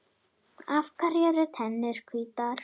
Af hverju eru tennur hvítar?